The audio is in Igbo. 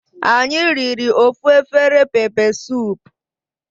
Anyi riri ofu afere pepe sup